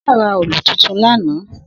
Shina rà òòlú tútún làná